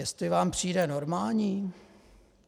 Jestli vám přijde normální...